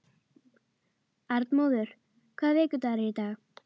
Arnmóður, hvaða vikudagur er í dag?